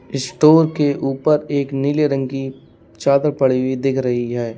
Store के ऊपर एक नीले रंग की चादर पड़ी हुई दिख रही है।